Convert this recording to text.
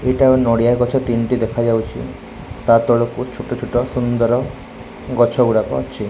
ଏଇଟା ନଡ଼ିଆ ଗଛ ତିନୋଟି ଦେଖାଯାଉଛି ତା ତଳକୁ ଛୋଟ ଛୋଟ ସୁନ୍ଦର୍ ଗଛ ଗୁଡ଼ାକ ଅଛି।